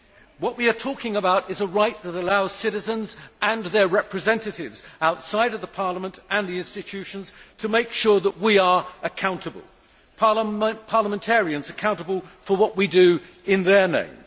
What we are talking about is a right that allows citizens and their representatives outside Parliament and the institutions to make sure that we are accountable parliamentarians accountable for what we do in their name